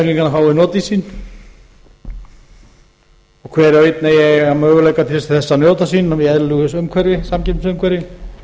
fái notið sín og hver og einn eigi að eiga möguleika til að njóta sín í eðlilegustu samkeppnisumhverfi